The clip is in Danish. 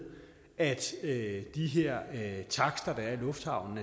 at at de her takster der er i lufthavnen